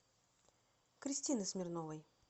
кристины смирновой